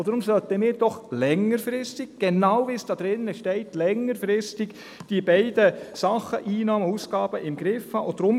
Deswegen sollten wir doch längerfristig, genau wie es da drin steht, beides, Einnahmen und Ausgaben, im Griff haben.